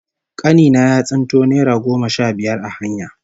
Kani na ya tsinto naira goma sha biyar a hanya